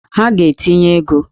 Ha ga-etinye ego!